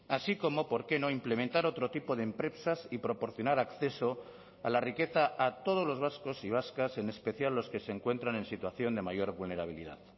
así como por qué no implementar otro tipo de empresas y proporcionar acceso a la riqueza a todos los vascos y vascas en especial los que se encuentran en situación de mayor vulnerabilidad